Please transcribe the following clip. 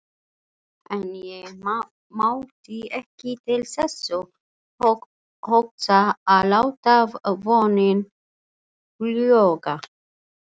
En ég mátti ekki til þess hugsa að láta vonina fljúga.